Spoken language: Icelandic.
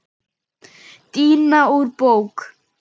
Díana úr bók.